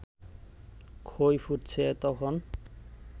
খই ফুটছে তখন